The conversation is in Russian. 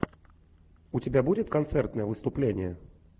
у тебя будет концертное выступление